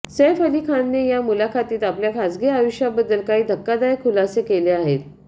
सैफ अली खानने या मुलाखतीत आपल्या खासगी आयुष्याबद्दल काही धक्कादायक खुलासे केले आहेत